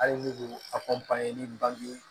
Hali ni ko a ni bange